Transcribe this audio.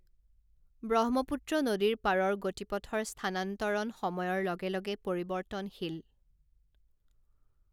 ব্ৰহ্মপুত্ৰ নদীৰ পাৰৰ গতিপথৰ স্থানান্তৰণ সময়ৰ লগে লগে পৰিৱৰ্তনশীল।